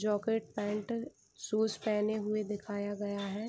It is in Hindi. जोकेट पैंट शूज पेहेने हुए दिखाया गया है।